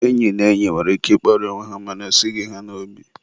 enyi na enyi nwere ike ịkparị onwe ha mana o esighi ha n'obi.